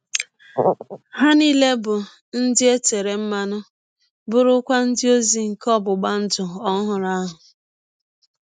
Ha nile bụ ndị e tere mmanụ, bụrụkwa ndị ọzi nke ọgbụgba ndụ ọhụrụ ahụ.